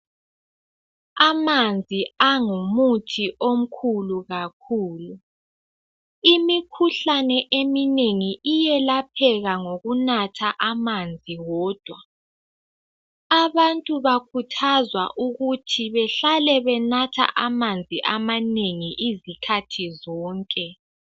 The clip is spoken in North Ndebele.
Amanzi angumuthi omkhulu kakhulu imikhuhlane eminengi iyelapheka ngokunatha amanzi wodwa. Abantu bakhuthazwa ukuthi behlale benatha amanzi amanengi izikhathi zonke.